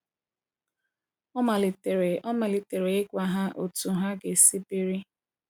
Ọ malitere Ọ malitere ịgwa ha otu ha ga-esi biri.